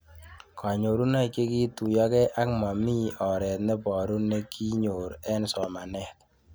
Kanyorunoik che kituyokei ako mami oret neparu nekikinyor eng' somanet